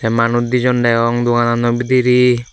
te manuj dijon deong doganano bidire.